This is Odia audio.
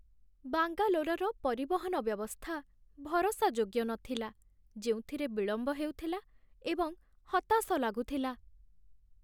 ବାଙ୍ଗାଲୋର୍‌ର ପରିବହନ ବ୍ୟବସ୍ଥା ଭରସାଯୋଗ୍ୟ ନଥିଲା, ଯେଉଁଥିରେ ବିଳମ୍ବ ହେଉଥିଲା ଏବଂ ହତାଶ ଲାଗୁଥିଲା।